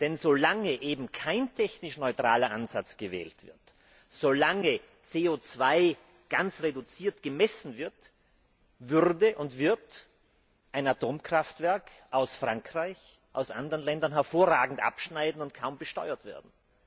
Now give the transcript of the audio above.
Denn solange eben kein technisch neutraler Ansatz gewählt wird, solange CO 2 ganz reduziert gemessen wird, würde und wird ein Atomkraftwerk aus Frankreich und aus anderen Ländern hervorragend abschneiden und kaum besteuert werden.